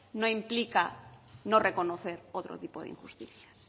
no implica no reconocer otro tipo de injusticias